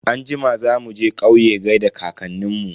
Anjima za muje kauye gaida kankanin mu.